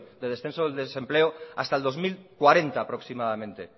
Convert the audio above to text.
del descenso de desempleo hasta el dos mil cuarenta aproximadamente